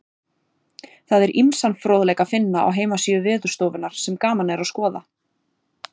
Það er ýmsan fróðleik að finna á heimasíðu Veðurstofunnar sem gaman er að skoða.